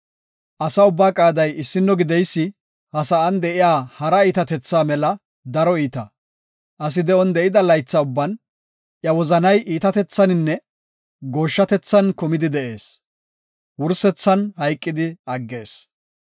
Asa ubbaa qaaday issino gideysi, ha sa7an de7iya hara iitatethaa mela daro iita. Asi de7on de7ida laytha ubban iya wozanay iitatethaninne gooshshatethan kumidi de7ees; wursethan hayqidi aggees.